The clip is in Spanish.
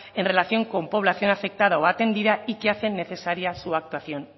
en relación con población afectada o atendida y que hacen necesaria su actuación